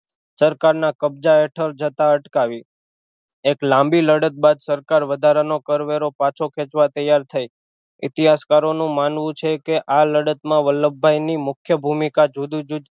સરકાર ના કબજા હેઠળ જતાં અટકાવી એક લાંબી લડત બાદ સરકાર વધારાનો કરવેરો પાછો ખેચવા ત્યાર થઈ ઇતિહાસકારો નું માનવું છે કે આ લડત માં વલ્લભભાઈ ની મુખ્ય ભૂમિકા જુદું જુદું